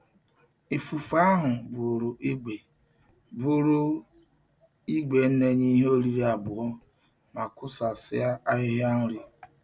Ifufe ahu buru igwe buru igwe na-enye ihe oriri abuo ma kusasia ahihia nri.